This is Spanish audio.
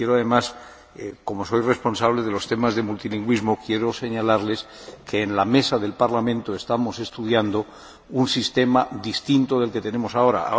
Y, como responsable de los temas de multilingüismo, quiero señalarles que en la Mesa del Parlamento estamos estudiando un sistema distinto del que tenemos ahora.